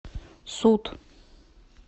суд